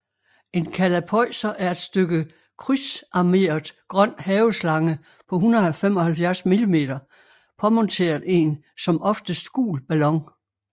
En kalapøjser er et stykke krydsarmeret grøn haveslange på 175 mm påmonteret en som oftest gul ballon